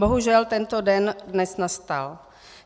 Bohužel tento den dnes nastal.